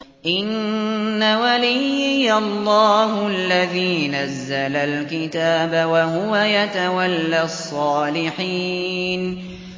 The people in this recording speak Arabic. إِنَّ وَلِيِّيَ اللَّهُ الَّذِي نَزَّلَ الْكِتَابَ ۖ وَهُوَ يَتَوَلَّى الصَّالِحِينَ